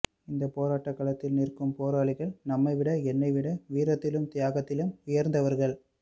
இந்தப் போராட்டக் களத்தில் நிற்கும் போராளிகள் நம்மைவிட என்னைவிட வீரத்திலும் தியாகத்திலும் உயர்ந்தவர்கள்